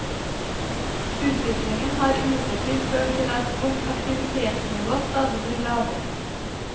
Utviklingen har imidlertid ført til at vårt aktivitetsnivå stadig blir lavere.